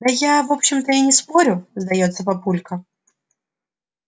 да я в общем-то и не спорю сдаётся папулька